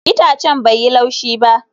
Itacen bai yi laushi ba